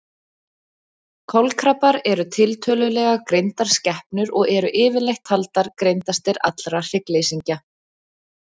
Kolkrabbar eru tiltölulega greindar skepnur og eru yfirleitt taldir greindastir allra hryggleysingja.